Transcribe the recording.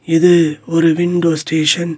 இது ஒரு window station .